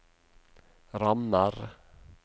rammer